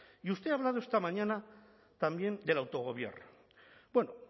y usted ha hablado esta mañana también del autogobierno bueno